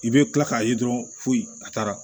I bɛ tila k'a ye dɔrɔn fo a taara